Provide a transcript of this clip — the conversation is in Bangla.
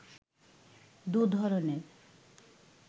দু’ধরণের